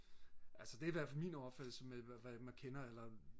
altså det er da i hvert fald min opfattelse at man kender eller